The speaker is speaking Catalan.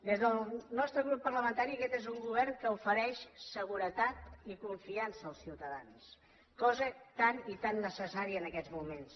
bé des del nostre grup parlamentari aquest és un govern que ofereix seguretat i confiança als ciutadans cosa tan i tan necessària en aquests moments